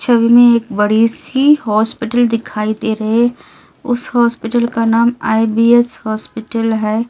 छवि में एक बड़ी सी अस्पताल दिखाई दे रहे उस अस्पताल का नाम आई_बी_एस अस्पताल है इस --